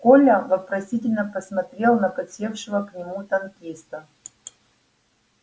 коля вопросительно посмотрел на подсевшего к нему танкиста